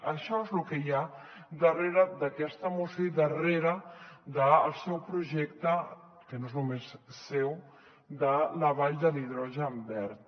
això és lo que hi ha darrere d’aquesta moció i darrere del seu projecte que no és només seu de la vall de l’hidrogen verd